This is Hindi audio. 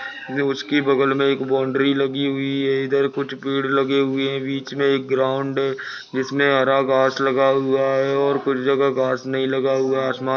उसकी बगल मे एक बाउंड्री लगी हुई है इधर कुछ पेड़ लगे हुए है बीच मे एक ग्राउन्ड है जिसमे हरा घास लगा हुआ है और कुछ जगह घास नही लगा हुआ है आसमा--